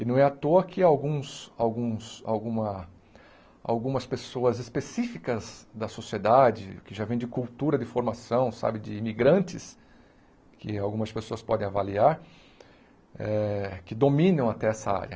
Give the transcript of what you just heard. E não é à toa que alguns alguns alguma algumas pessoas específicas da sociedade, que já vêm de cultura, de formação sabe, de imigrantes, que algumas pessoas podem avaliar, eh que dominam até essa área.